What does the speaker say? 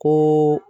Ko